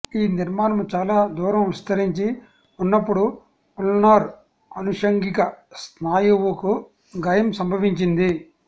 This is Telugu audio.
ఈ నిర్మాణము చాలా దూరం విస్తరించి ఉన్నపుడు ఉల్నార్ అనుషంగిక స్నాయువుకు గాయం సంభవిస్తుంది